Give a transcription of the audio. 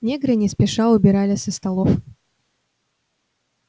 негры не спеша убирали со столов